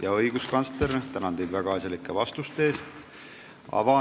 Ja, õiguskantsler, tänan teid väga asjalike vastuste eest!